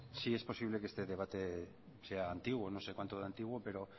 sí es posible que este debate sea antiguo no sé cuánto de antiguo pero